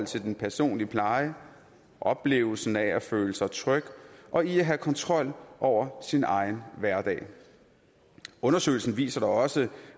til den personlige pleje oplevelsen af at føle sig tryg og i at have kontrol over sin egen hverdag undersøgelsen viste da også